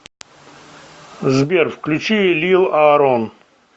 сбер включи лил аарон